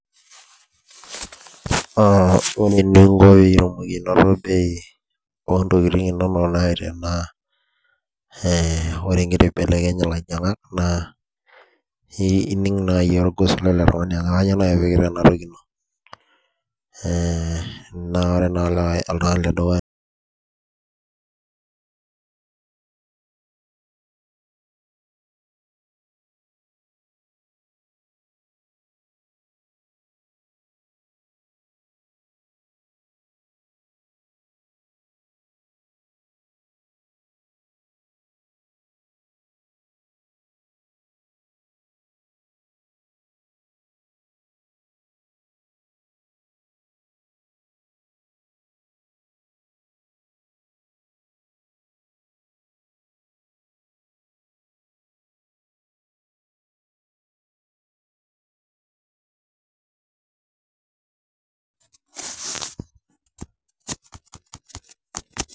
A a ore eninko piyiolou bei ontokitin inonok naa , ee ore ngira aibelekeny ilainyiangak naa ee ining naji orgos lele tungani ajo kainyioo naji , ee naa ore naa entoki edukuya naa